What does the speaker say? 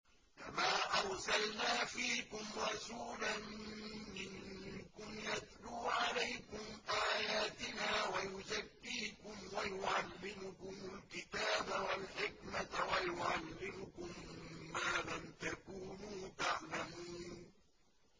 كَمَا أَرْسَلْنَا فِيكُمْ رَسُولًا مِّنكُمْ يَتْلُو عَلَيْكُمْ آيَاتِنَا وَيُزَكِّيكُمْ وَيُعَلِّمُكُمُ الْكِتَابَ وَالْحِكْمَةَ وَيُعَلِّمُكُم مَّا لَمْ تَكُونُوا تَعْلَمُونَ